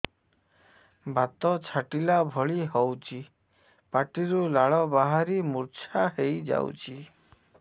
ବାତ ଛାଟିଲା ଭଳି ହଉଚି ପାଟିରୁ ଲାଳ ବାହାରି ମୁର୍ଚ୍ଛା ହେଇଯାଉଛି